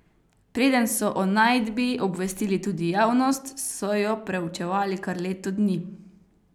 Preden so o najdbi obvestili tudi javnost, so jo preučevali kar leto dni.